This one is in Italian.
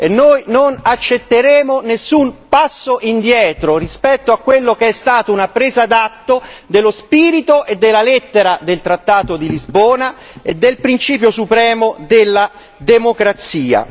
Noi non accetteremo nessun passo indietro rispetto a ciò che è stato una presa d'atto dello spirito e della lettera del trattato di Lisbona e del principio supremo della democrazia.